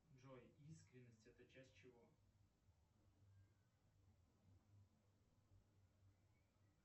джой искренность это часть чего